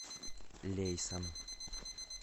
лейсан